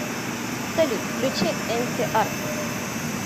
салют включи энси артс